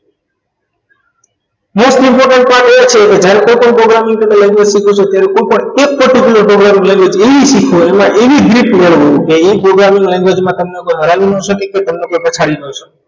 Most important પર એ છે કે જ્યારે કોઈપણ programming કે language શીખો છો ત્યારે કોઈપણ એ particular programming language એવી શીખો કે એમાં એવી grip મેળવો કે એ programming language માં કોઈ તમને હરાવી ન શકે તમને કોઈ પછાડી ન શકે